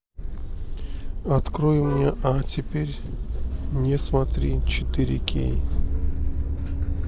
открой мне а теперь не смотри четыре кей